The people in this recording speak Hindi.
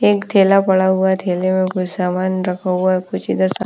एक थैला पड़ा हुआ हैं थैले में कुछ सामान रखा हुआ हैं कुछ इधर सा--